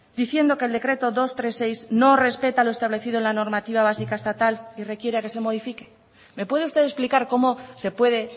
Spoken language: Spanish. diciendo que el decreto doscientos treinta y seis no respeta lo establecido en la normativa básica estatal y requiera que se modifique me puede usted explicar cómo se puede